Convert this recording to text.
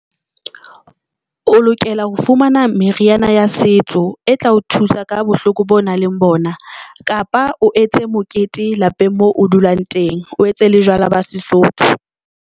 O lokela ho fumana meriana ya setso e tla o thusa ka bohloko boo nang leng bona, kapa o etse mokete lapeng moo o dulang teng, o etse le jwala ba Sesotho.